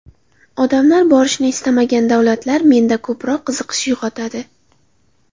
Odamlar borishni istamagan davlatlar menda ko‘proq qiziqish uyg‘otadi.